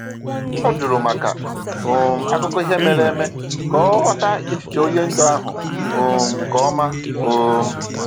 O jụrụ maka um akụkọ ihe mere eme ka ọ ghọta echiche onye ndu ahụ um nke ọma. um